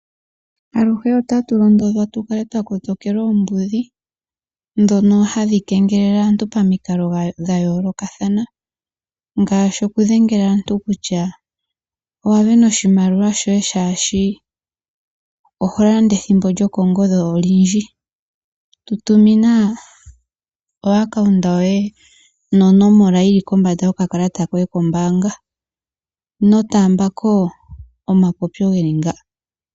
Aluhe otatu londodhwa tukale twa kotokela oombudhi, dhoka hadhi kengelele aantu pamikalo dha yoolokathana, ngashi oku dhengela aantu kutya owa sindana oshimaliwa shoye shashi oho landa ethimbo lyokongodhi olundji, tutumina o akaunta yoye no nomola yili kombanda yoka kalata koye kombanga. Ino taambako omapopyo geli ngaka.